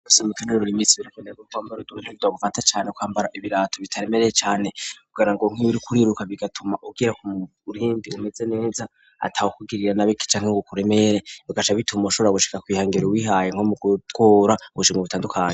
Bisaba mu kwinonora imitsi birakeneweko kwambara ibirato butagufa cane kwambara ibirato bitaremereye cane kugirango uriko uriruka cane bigatuma ugira umurindi umeze neza, atawukuriye nabi canke bikuremere, bigaca bituma ushobora gushika kwihangiro wihaye nko mu gutora ubushimwe butandukanye.